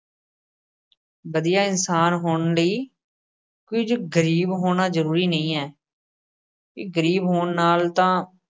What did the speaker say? ਵਧੀਆ ਇਨਸਾਨ ਹੋਣ ਲਈ ਕੁੱਝ ਗਰੀਬ ਹੋਣਾ ਜ਼ਰੂਰੀ ਨਹੀਂ ਏ ਗਰੀਬ ਹੋਣ ਨਾਲ ਤਾਂ